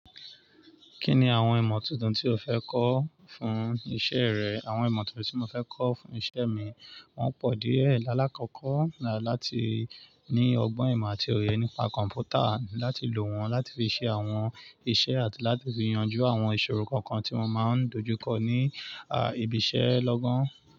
Kí ni àwọn ìmọ̀ tuntun tí o fẹ́ kọ́ fún iṣẹ́ rẹ? Àwọn ìmọ̀ tuntun tí mo fẹ́ kọ́ fún iṣẹ́ mi, wọ́n pọ̀ díẹ̀. Láàlákọ́kọ́ ni láti ní ọgbọ́n ìmọ̀ àti oye nípa kọ̀m̀pútà láti lò wọ́n láti fi ṣe àwọn iṣẹ́ àti láti fi yanjú àwọn ìṣòro kankan tí wọ́n máa ń dojú kọ ní, à, ibi iṣẹ́ lọ́gán.